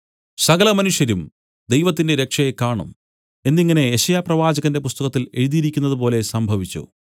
സകലമനുഷ്യരും ദൈവത്തിന്റെ രക്ഷയെ കാണും എന്നിങ്ങനെ യെശയ്യാപ്രവാചകന്റെ പുസ്തകത്തിൽ എഴുതിയിരിക്കുന്നത് പോലെ സംഭവിച്ചു